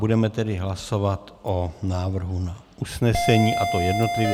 Budeme tedy hlasovat o návrhu na usnesení, a to jednotlivě.